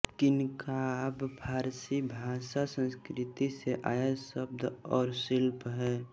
किन्खाब फारसी भाषासंस्कृति से आया शब्द और शिल्प है